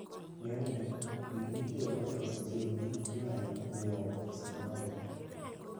Ng'enyne, gik mitiyogo e loso chiembgi inyalo ng'iewo e supamaket.